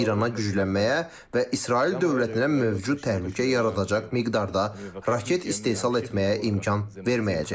İrana güclənməyə və İsrail dövlətinə mövcud təhlükə yaradacaq miqdarda raket istehsal etməyə imkan verməyəcəyik.